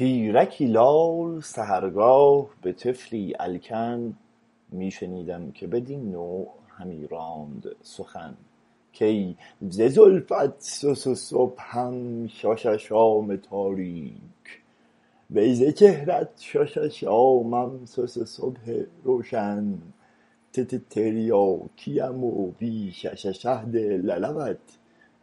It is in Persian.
پیرکی لال سحرگاه به طفلی الکن می شنیدم که بدین نوع همی راند سخن کای ز زلفت صصصبحم شاشاشام تاریک وی ز چهرت شاشاشامم صصصبح روشن تتتریاکیم و بی شششهد للبت